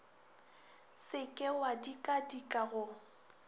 se ke wa dikadika go